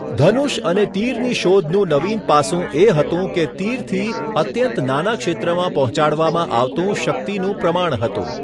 ધનુષ અને તીરની શોધનું નવીન પાસું એ હતું કે તીરથી અત્યંત નાના ક્ષેત્રમાં પહોંચાડવામાં આવતું શક્તિનું પ્રમાણ હતું.